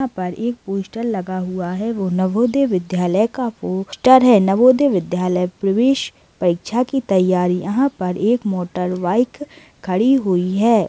यहाँ पर एक पोस्टर लगा हुआ है वो नवोदय विद्यालय का पोस्टर है नवोदय विद्यालय प्रवेश परीक्षा की तैयारी यहाँ पर एक मोटर बाइक खड़ी हुई हैं।